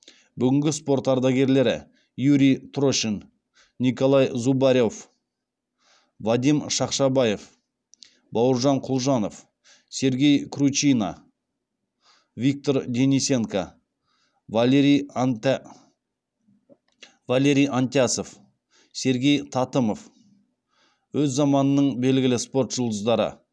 бүгінгі спорт ардагерлері юрий трошин николай зубарев вадим шақшабаев бауыржан құлжанов сергей кручина виктор денисенко валерий антясов сергей татымов өз заманының белгілі спорт жұлдыздары